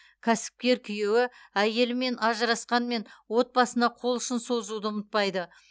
кәсіпкер күйеуі әйелімен ажырасқанмен отбасына қол ұшын созуды ұмытпайды